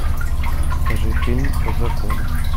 покажи фильм по закону